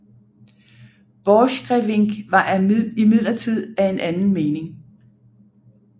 Borchgrevink var imidlertid af en anden mening